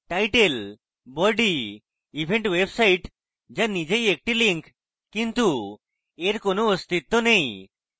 title body event website the নিজেই একটি link কিন্তু এর কোন অস্তিত্ব নেই